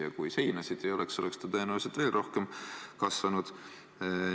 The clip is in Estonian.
Ja kui seinasid ei oleks, oleks ta tõenäoliselt veel rohkem kasvanud.